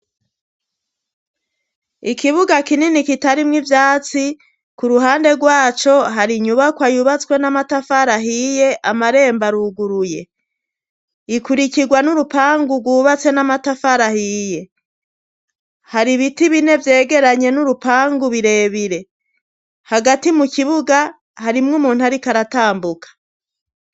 Ikibuga kinini kitarimwo ivyatsi ku ruhande rwaco hari inyubako ayubatswe n'amatafara ahiye amarembo aruguruye ikurikirwa n'urupangu rwubatse n'amatafarahiye hari ibiti bine vyegeranye n'urupangu birebire hagati mu kibuga harimwo umuntu, ariko aratambuka.